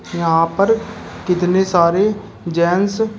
यहां पर कितने सारे जेंस --